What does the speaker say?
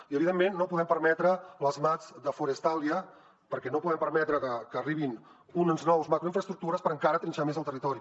i evidentment no podem permetre les mats de forestalia perquè no podem permetre que arribin unes noves macroinfraestructures per encara trinxar més el territori